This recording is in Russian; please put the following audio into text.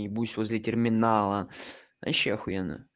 ебусь возле терминала вообще ахуенно